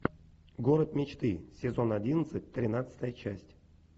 город мечты сезон одиннадцать тринадцатая часть